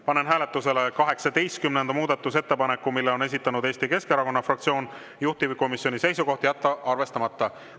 Panen hääletusele 18. muudatusettepaneku, mille on esitanud Eesti Keskerakonna fraktsioon, juhtivkomisjoni seisukoht: jätta arvestamata.